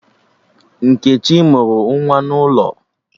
Nkechi mụrụ nwa n'ụlọ